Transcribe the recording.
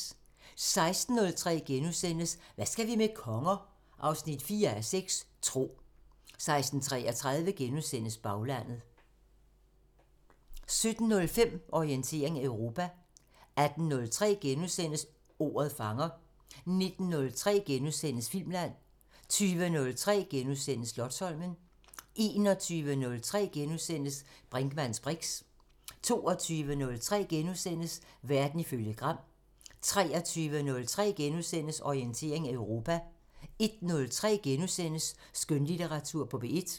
16:03: Hvad skal vi med konger? 4:6 – Tro * 16:33: Baglandet * 17:05: Orientering Europa 18:03: Ordet fanger * 19:03: Filmland * 20:03: Slotsholmen * 21:03: Brinkmanns briks * 22:03: Verden ifølge Gram * 23:03: Orientering Europa * 01:03: Skønlitteratur på P1 *